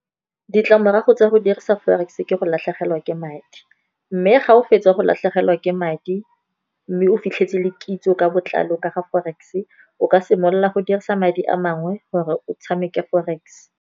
Ditlamorago tsa go dirisa forex, ke go latlhegelwa ke madi. Mme ga o fetsa go latlhegelwa ke madi, mme o fitlhetse le kitso ka botlalo ka ga forex, o ka simolola go dirisa madi a mangwe gore o tshameke forex.